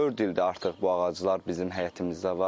Dörd ildir artıq bu ağaclar bizim həyətimizdə var.